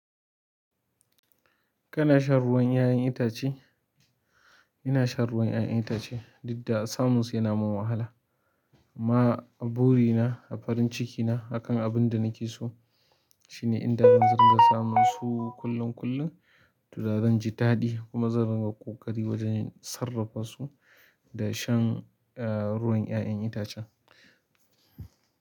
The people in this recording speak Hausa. Kana shan ruwan 'ya'yan itace? Ina shan ruwan 'ya'yan itace, duk da samun su yana min wahala. Amma buri na da farin ciki na akan abunda nake so shine inda zan ringa samunsu kullum--kullum to da zanji daɗi kuma zan ringa ƙoƙari wajen sarrafa su. Da shan ruwan 'ya'yan itacen.